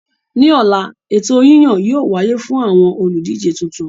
Ní ọ̀la, ètò yíyàn yóò wáyé fún àwọn olùdíje tuntun